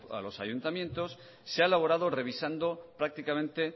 a los ayuntamientos se ha elaborado revisando prácticamente